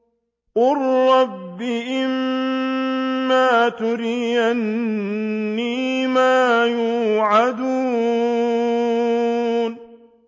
قُل رَّبِّ إِمَّا تُرِيَنِّي مَا يُوعَدُونَ